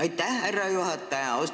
Aitäh, härra juhataja!